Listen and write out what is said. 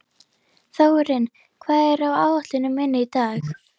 Þórinn, hvað er á áætluninni minni í dag?